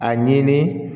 A ɲini